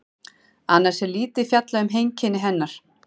Annars er lítið fjallað um heimkynni hennar.